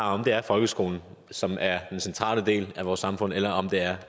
om det er folkeskolen som er en central del af vores samfund eller om det er